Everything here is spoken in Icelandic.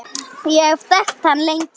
Ég hef þekkt hann lengi.